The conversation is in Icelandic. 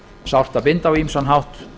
sárt að binda á ýmsan hátt